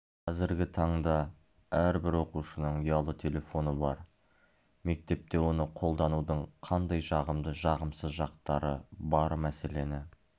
қазіргі таңда әрбір оқушының ұялы телефоны бар мектепте оны қолданудың қандай жағымды жағымсыз жақтары бар мәселені